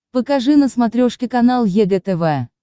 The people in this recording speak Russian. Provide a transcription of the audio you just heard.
покажи на смотрешке канал егэ тв